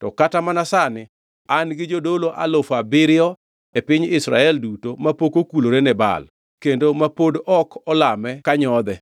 To kata mana sani an gi jodolo alufu abiriyo e piny Israel duto mapok okulore ne Baal, kendo ma pod olame ka nyodhe.”